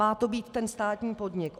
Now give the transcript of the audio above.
Má to být ten státní podnik.